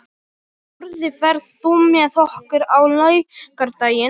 Sporði, ferð þú með okkur á laugardaginn?